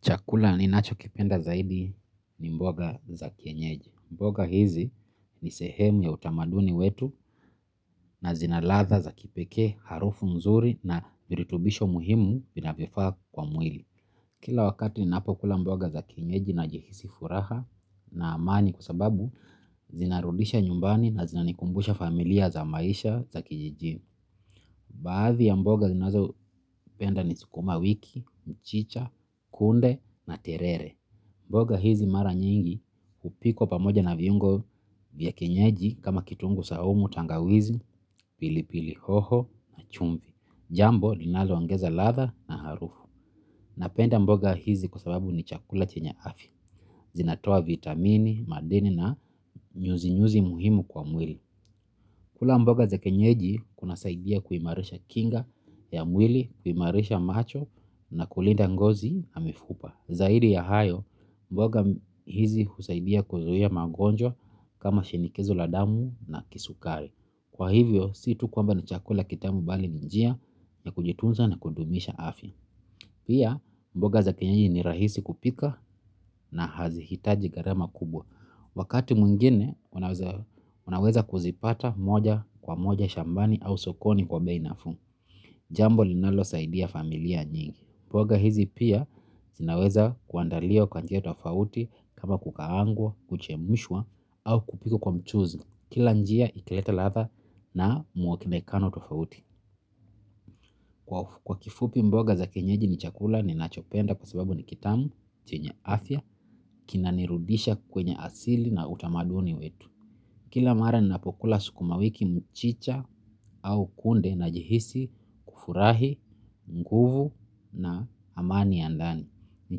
Chakula ninacho kipenda zaidi ni mboga za kienyeji. Mboga hizi ni sehemu ya utamaduni wetu na zina ladha za kipekee harufu nzuri na virutubisho muhimu vinavyofaa kwa mwili. Kila wakati ninapo kula mboga za kienyeji na jahisi furaha na amani kusababu, zinarudisha nyumbani na zinanikumbusha familia za maisha za kijijini. Baadhi ya mboga zinazo penda ni sikuma wiki, mchicha, kunde na terere. Mboga hizi mara nyingi hupikwa pamoja na viungo vya kienyeji kama kitunguu saumu tangawizi, pili pili hoho na chumvi. Jambo linaloangeza latha na harufu. Napenda mboga hizi kwa sababu ni chakula chenye afya. Zinatoa vitamini, madini na nyuzi nyuzi muhimu kwa mwili. Kula mboga za kienyeji kuna saidia kuimarisha kinga ya mwili, kuimarisha macho na kulinda ngozi na mifupa. Zaidi ya hayo, mboga hizi husaidia kuzuia magonjwa kama shinikizo la damu na kisukari. Kwa hivyo, si tu kwamba na chakula kitamu bali ni njia ya kujitunza na kudumisha afya. Pia, mboga za kienyeji ni rahisi kupika na hazihitaji gharama kubwa. Wakati mwingine, unaweza kuzipata moja kwa moja shambani au sokoni kwa bei nafuu. Jambo linalo saidia familia nyingi. Mboga hizi pia zinaweza kuandaliwa kwa njia tofauti kama kukaangwa kuchemshwa au kupikwa kwa mchuzi kila njia italeta ladha na muonekano tofauti. Kwa kifupi mboga za kienyeji ni chakula ninachopenda kwa sababu ni kitamu, chenye afya, kina nirudisha kwenye asili na utamaduni wetu. Kila mara ninapokula sukumawiki mchicha au kunde najihisi kufurahi, mguvu na amani ya ndani. Ni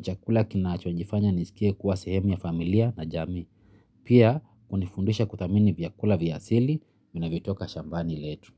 chakula kinachonifanya nijiskie kuwa sehemu ya familia na jamii pia hunifundisha kuthamini vyakula vya asili vinavyotoka shambani letu.